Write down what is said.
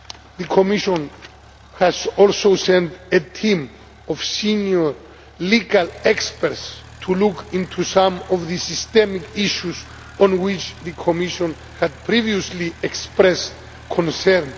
The Commission has also sent a team of senior legal experts to look into some of the systemic issues on which the Commission had previously expressed concern.